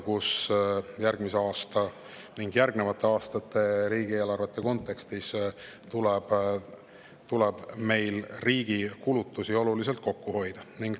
Ka järgmise aasta ning sellele järgnevate aastate riigieelarvete kontekstis tuleb riigi kulutusi oluliselt kokku hoida.